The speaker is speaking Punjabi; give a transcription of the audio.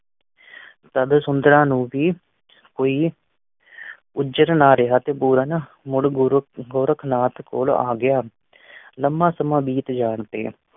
ਤਦ ਸੁੰਦਰਾਂ ਨੂੰ ਵੀ ਹੋਈ ਨਾ ਰਿਹਾ ਤੇ ਪੂਰਨ ਮੁੜ ਗੁਰੂ ਗੋਰਖਨਾਥ ਕੋਲ਼ ਆ ਗਿਆ। ਲੰਬਾ ਸਮਾਂ ਬੀਤ ਜਾਣ ਤੇ